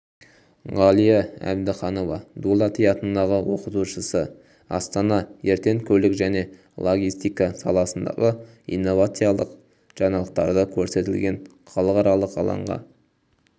ғалия әбдіханова дулати атындағы оқытушысы астана ертең көлік және логистика саласындағы инновациялық жаңалықтарды көрсететін халықаралық алаңға